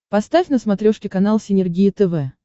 поставь на смотрешке канал синергия тв